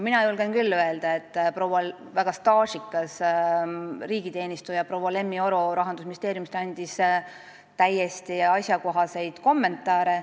Mina julgen küll öelda, et väga staažikas riigiteenistuja proua Lemmi Oro Rahandusministeeriumist andis täiesti asjakohaseid kommentaare.